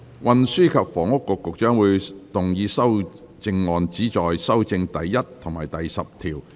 運輸及房屋局局長會動議修正案，旨在修正第1及10條。